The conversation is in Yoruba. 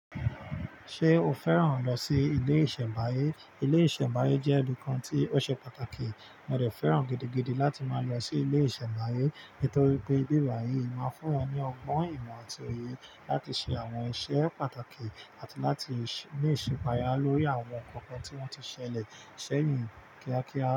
Ṣé o fẹ́ràn lọ sí ilé ìṣẹ̀báyé? Ilé ìṣẹ̀báyé jẹ́ ibi kan tí ó ṣe pàtàkì, mo dé fẹ́ràn gidigidi láti máa lọ sí ilé ìṣẹ̀báyé nítorí pé ibi bái yìí máa ń fún máa ń fún èyàn ní ọgbọ́n ìmọ̀ àti òye láti ṣe àwọn iṣẹ́ pàtàkì àti láti ní ìṣẹ̀pàya lórí àwọn nkankan tí wọ́n ti ṣẹlẹ̀ sẹ́yìn kíákíá.